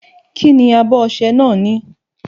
Kí ni abọ ọṣẹ náà ní?